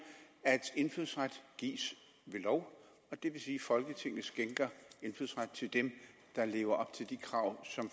at indfødsret gives ved lov det vil sige at folketinget skænker indfødsret til dem der lever op til de krav som